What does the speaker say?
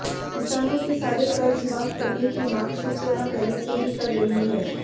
किसानों के सारे कर्ज माफ करने की मांग शिवसेना पहले से ही कर रही है